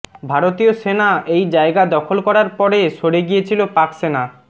ভারতীয় সেনা এই জায়গা দখল করার পরে সরে গিয়েছিল পাকসেনা